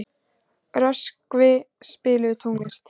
Röskvi, spilaðu tónlist.